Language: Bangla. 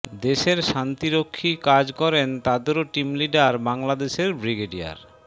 দেশের শান্তিরক্ষী কাজ করেন তাদেরও টিম লিডার বাংলাদেশের ব্রিগেডিয়ার